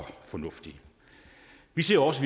fornuftigt vi ser også